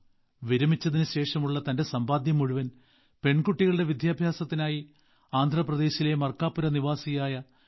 വിരമിച്ചതിന് ശേഷമുള്ള തന്റെ സമ്പാദ്യം മുഴുവൻ പെൺകുട്ടികളുടെ വിദ്യാഭ്യാസത്തിനായി ആന്ധ്രാപ്രദേശിലെ മർക്കാപുരനിവാസിയായ ശ്രീ